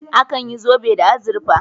Akan yi zobe da azurfa